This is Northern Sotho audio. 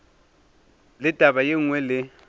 le taba ye nngwe le